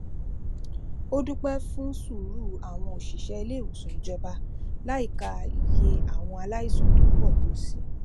ó dúpẹ fún sùúrù àwọn òṣìṣẹ iléìwòsàn ìjọba láìka iye àwọn aláìsàn tó pọ tó si